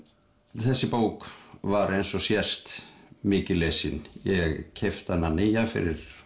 þessi bók var eins og sést mikið lesin ég keypti hana nýja fyrir